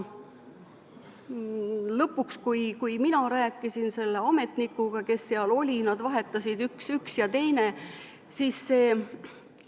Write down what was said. Lõpuks, kui mina rääkisin selle ametnikuga, kes seal oli – nad vahetusid, oli üks ja teine, siis see ...